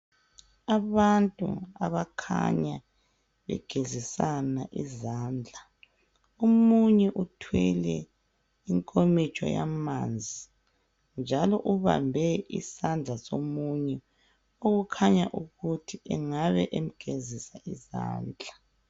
Abantu abakhanya begezisana izandla omunye uthwele inkomitsho yamanzi njalo ubambe isandla somunye okukhanya ukuthi engabe emgezisa izandla.